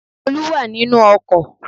Olú wà nínù ọkò